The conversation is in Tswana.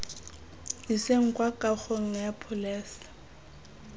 iseng kwa kagong ya pholese